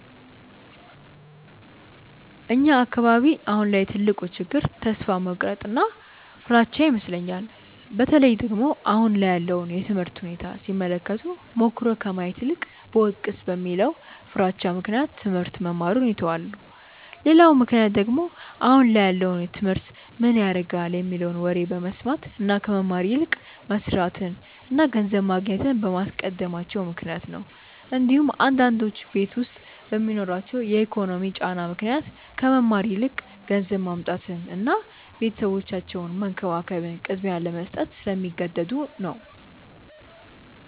እኛ አካባቢ አሁን ላይ ትልቁ ችግር ተስፋ መቁረጥ እና ፍራቻ ይመስለኛል። በተለይ ደግሞ አሁን ላይ ያለውን የትምህርት ሁኔታ ሲመለከቱ ሞክሮ ከማየት ይልቅ ብወድቅስ በሚለው ፍራቻ ምክንያት ትሞህርት መማሩን ይተውታል። ሌላው ምክንያት ደግሞ አሁን ላይ ያለውን ትምህርት ምን ያረጋል የሚለውን ወሬ በመስማት እና ከመማር ይልቅ መስርትን እና ገንዘብ ማግኘትን በማስቀደማቸው ምክንያት ነው እንዲሁም አንዳንዶቹ ቤት ዉስጥ በሚኖርባቸው የኢኮኖሚ ጫና ምክንያት ከመማር ይልቅ ገንዘብ ማምጣትን እና ቤተሰባቸውን መንከባከብን ቅድሚያ ለመስጠት ስለሚገደዱ ነው።